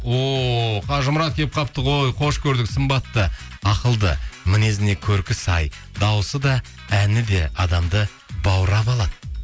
о қажымұрат келіп қалыпты ғой қош көрдік сымбатты ақылды мінезіне көркі сай дауысы да әні де адамды баурап алады